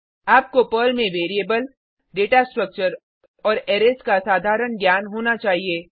आपको पर्ल में variable data structure और अरैज का साधारण ज्ञान होना चाहिए